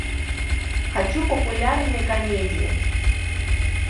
хочу популярные комедии